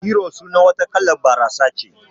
Hero sunar wata kalan barasa ce